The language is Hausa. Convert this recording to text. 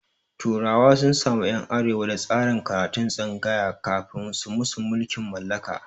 turawa sun samu ƴan arewa da tsarin karatun tsangaya kafin su musu mulkin mallaka